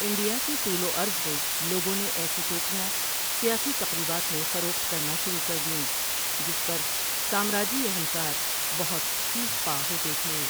India کے طول و عرض میں لوگوں نے ایسی ٹوپیاں سیاسی تقریبات میں فروخت کرنا شروع کر دیں، جس پر سامراجی اہلکار بہت سیخ پا ہوتے تھے۔